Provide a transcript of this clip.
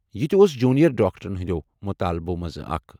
یہِ تہِ اوس جونیئر ڈاکٹرن ہٕنٛدٮ۪و مطالبو منٛزٕ اکھ۔